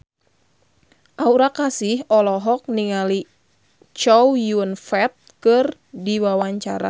Aura Kasih olohok ningali Chow Yun Fat keur diwawancara